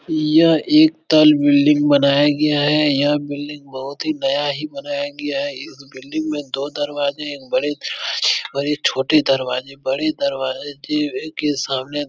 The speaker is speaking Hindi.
यह एक तल बिल्डिंग बनाया गया है यह बिल्डिंग बहुत ही नया ही बनाया है इस बिल्डिंग में दो‌ दरवाजे एक बड़े दरवाजे एक छोटे दरवाजे बड़े दरवाजे के सामने --